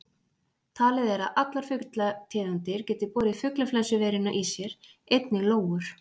Talið er að allar fuglategundir geti borið fuglaflensuveiruna í sér, einnig lóur.